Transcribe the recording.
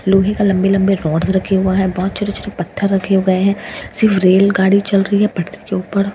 लोहे का लंबे लंबे रोड्स रखे हुए हैं बहुत छोटे छोटे पत्थर रखे हुए हैं सिर्फ रेल गाड़ी चल रही है पटरी के ऊपर --